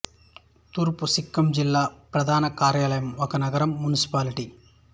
తూర్పు సిక్కిం జిల్లా ప్రధాన కార్యాలయం ఒక నగరం మునిసిపాలిటీ